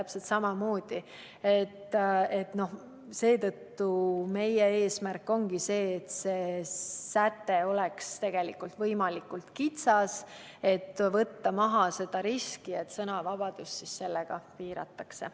Seetõttu ongi meie eesmärk see, et see säte oleks võimalikult kitsas, et võtta maha risk, et sellega sõnavabadust piiratakse.